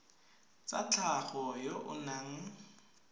tsa tlhago yo o nang